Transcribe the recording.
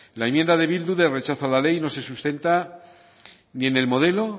la enmienda de bildu de rechazo a la ley no se sustenta ni en el modelo